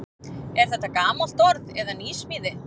Er þetta gamalt orð eða nýsmíði?